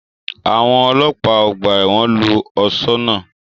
Àwọn ọlọ́pàá ọgbà ẹ̀wọ̀n lu ọ̀ṣọ́ náà